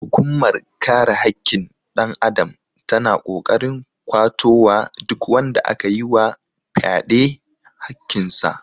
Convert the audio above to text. Hukunmar kare hakkin ɗan adam ta na ƙoƙarin kwato wa duk wanda aka yi wa fyaɗe hakkin sa